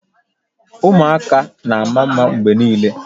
Ụmụaka na-ama mma mgbe niile